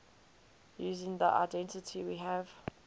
using the identity we have